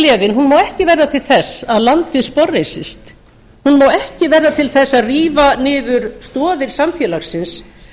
vaxtagleðin má ekki verða til þess að landið sporðreisist hún má ekki verða til þess að rífa niður stoðir samfélagsins